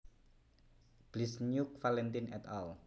Bliznyuk Valentin et al